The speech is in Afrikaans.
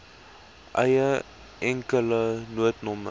eie enkele noodnommer